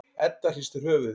Edda hristir höfuðið.